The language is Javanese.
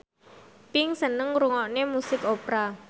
Pink seneng ngrungokne musik opera